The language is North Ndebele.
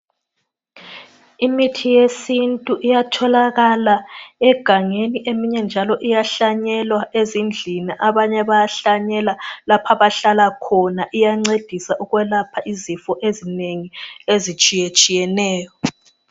Imithi yesintu iyatholakala egangeni eminye nje iyahlanyelwa ezindlini, abanye bayahlanyela lapha abahlala khona. Iyancedisa ukwelapha izifo ezinengi ezitshiyetshiyeneyo